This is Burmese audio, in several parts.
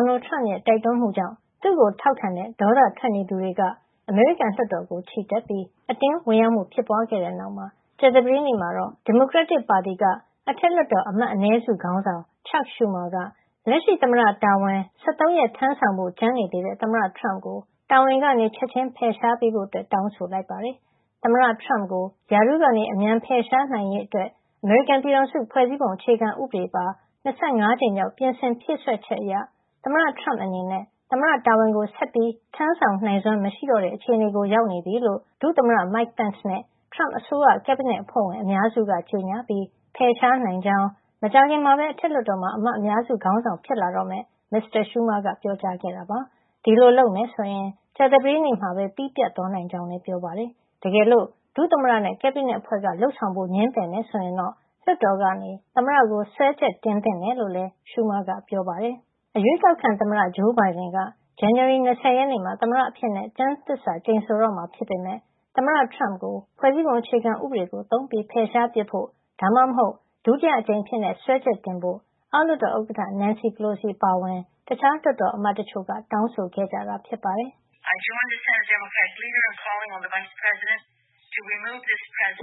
်နယ်ထရမ့်ရဲ့ တိုက်တွန်းမှုကြောင့် သူ့ကို ထောက်ခံတဲ့ ဒေါသထွက်နေသူတွေက အမေရိကန်လွှတ်တော်ကို ချီတက်ပြီး အတင်းဝင်ရောက်မှုဖြစ်ပွားခဲ့တဲ့ နောက်မှာ ကြာသပတေးနေ့မှာတော့ ဒီမိုကရက်တစ်ပါတီက အထက်လွှတ်တော် အမတ်အနည်းစု ခေါင်းဆောင် Chuck Schumer က လက်ရှိသမ္မတတာဝန် ၁၃ ရက်ထမ်းဆောင်ဖို့ ကျန်နေသေးတဲ့ သမ္မတထရမ့်ကို တာဝန်ကနေ ချက်ချင်း ဖယ်ရှား ပေးဖို့ တောင်းဆိုလိုက်ပါတယ်။ သမ္မတထရမ့်ကို ရာထူးကနေ အမြန်ဖယ်ရှားရေးအတွက် အမေရိကန်ပြည်ထောင်စု ဖွဲ့စည်းပုံအခြေခံဥပဒေပါ ၂၅ ကြိမ်မြောက် ပြင်ဆင်ဖြည့်စွက်ချက် အရ သမ္မတထရမ့်အနေနဲ့ သမ္မတတာဝန်ကို ဆက်ပြီး ထမ်းဆောင်နိုင်စွမ်းမရှိတော့တဲ့ အခြေနေကို ရောက်နေပြီလို့ ဒုသမ္မတ Mike Pence နဲ့ ထရမ့်အစိုးရ ကက်ဘိနက်အဖွဲ့ဝင်အများစု က ကြေညာပြီး ဖယ်ရှားနိုင်ကြောင်း မကြာခင်မှာပဲ အထက်လွှတ်တော်မှာ အမတ်အများစု ခေါင်းဆောင် ဖြစ်လာတော့မယ့် မစ္စတာ Schumer က ပြောပါတယ်။ ဒီလို လုပ်မယ်ဆိုရင် ကြာသပတေးနေ့မှာပဲ ပြီးပြတ်သွားနိုင်ကြောင်းလည်း ပြောပါတယ်။ တကယ်လို့ ဒုသမ္မတနဲ့ ကက်ဘိနက်အဖွဲ့က လုပ်ဆောင်ဖို့ ငြင်းပယ်မယ် ဆိုရင် လွှတ်တော်ကနေ သမ္မတကိုစွဲချက်တင်သင့်တယ်လို့လည်း Schumer ကပြောပါတယ်။ အရွေးကောက်ခံသမ္မတ ဂျိုးဘိုင်ဒန်က ဇန်နဝါရီလ ၂၀ မှာ သမ္မတအဖြစ် ကျမ်းသစ္စာ ကျိန်ဆိုတော့မှာ ဖြစ်ပေမယ့် သမ္မတထရမ့်ကို ဖွဲ့စည်းပုံဥပဒေကို သုံးပြီးဖယ်ရှားပစ်ဖို့ ဒါမှမဟုတ် ဒုတိယအကြိမ်အဖြစ် စွဲချက်တင်ဖို့ အောက်လွှတ်တော် ဥက္ကဌ Nancy Pelosi အပါအဝင် တခြားလွှတ်တော်အမတ်တချို့က တောင်းဆိုခဲ့ကြတာပါ။ “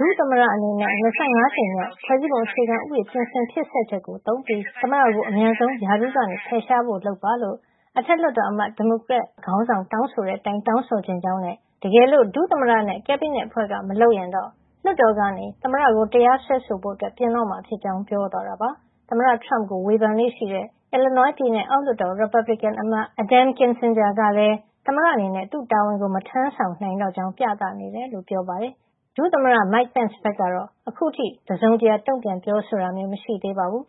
ဒုသမ္မတ အနေနဲ့ ၂၅ ကြိမ်မြောက် ဖွဲ့စည်းပုံဥပဒေ ပြင်ဆင်ဖြည့်စွက်ချက်ကို သုံးပြီး သမ္မတကို အမြန်ဆုံးရာထူးကနေဖယ်ရှားဖို့လုပ်ပါလို့ အထက်လွှတ်တော်အမတ် ဒီမိုကရက်အမတ်ခေါင်းဆောင် တောင်းဆိုတဲ့ အတိုင်း တောင်းဆိုချင်ကြောင်းနဲ့ တကယ်လို့ ဒုသမ္မတနဲ့ ကက်ဘိနက်အဖွဲ့က မလုပ်ရင်တော့ လွှတ်တော်က သမ္မတကို တရားစွဲဆိုဖို့ ပြင်တော့မှာ ဖြစ်ကြောင်း”Nancy Pelosi က ေြ ပာသွားတာပါ။ သမ္မတထရမ့်ကို ဝေဖန်လေ့ရှိတဲ့ Illinois ပြည်နယ် အောက်လွှတ်တော် ရီပတ်ဘလစ်ကင်အမတ် Adam Kinzinger ကလည်း သမ္မတအနေနဲ့ သူ့တာဝန်ကို မထမ်းဆောင်နိုင်တော့ကြောင်း ပြသနေတယ်လို့ ပြောပါတယ်။ ဒုသမ္မတ Mike Pence ဘက်ကတော့ အခုထိ တစုံတရာ တုန့်ပြန်ပြောဆိုတာ မရှိသေးပါဘူး